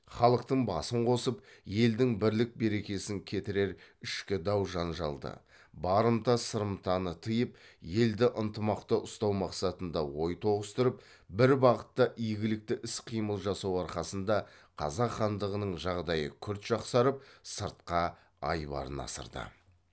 халықтың басын қосып елдің бірлік берекесін кетірер ішкі дау жанжалды барымта сырымтаны тиып елді ынтымақта ұстау мақсатында ой тоғыстырып бір бағытта игілікті іс қимыл жасау арқасында қазақ хандығының жағдайы күрт жақсарып сыртқа айбарын асырды